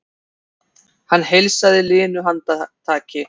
Hann heilsaði linu handtaki.